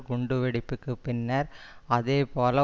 குண்டு வெடிப்புக்கு பின்னர் அதே போல